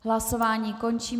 Hlasování končím.